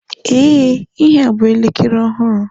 Ee, ihea bụ elekere ọhụrụ.